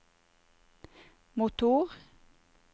motor